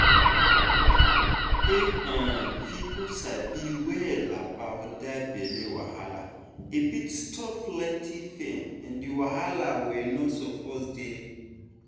if um people sabi well about that belly wahala e fit stop plenty pain and wahala wey no suppose dey.